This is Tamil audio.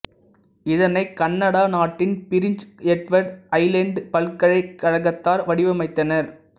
இதனை கனடா நாட்டின் பிரின்சு எட்வர்டு ஐலேண்டுப் பல்கலைக் கழகத்தார் வடிவமைத்தனர்